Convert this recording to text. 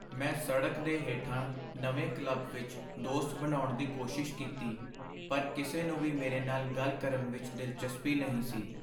ਮੈਂ ਸੜਕ ਦੇ ਹੇਠਾਂ ਨਵੇਂ ਕਲੱਬ ਵਿੱਚ ਦੋਸਤ ਬਣਾਉਣ ਦੀ ਕੋਸ਼ਿਸ਼ ਕੀਤੀ, ਪਰ ਕਿਸੇ ਨੂੰ ਵੀ ਮੇਰੇ ਨਾਲ ਗੱਲ ਕਰਨ ਵਿੱਚ ਦਿਲਚਸਪੀ ਨਹੀਂ ਸੀ।